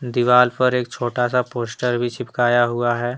दीवाल पर एक छोटा सा पोस्टर भी चिपकया हुआ है।